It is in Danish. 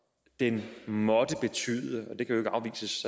den måtte betyde